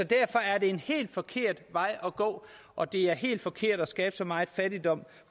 derfor er det en helt forkert vej at gå og det er helt forkert at skabe så meget fattigdom